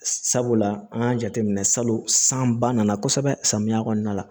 Sabula an y'a jateminɛ salon san ba nana kosɛbɛ samiya kɔnɔna la